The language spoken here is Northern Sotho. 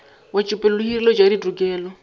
wetšopele le hireletšo ya ditokelo